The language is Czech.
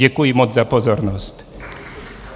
Děkuji moc za pozornost.